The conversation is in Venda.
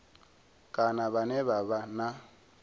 kana vhane vha vha na